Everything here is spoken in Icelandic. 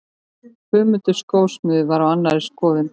Guðmundur skósmiður var á annarri skoðun.